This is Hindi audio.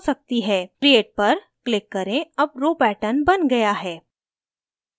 create पर click करें अब row pattern बन गया है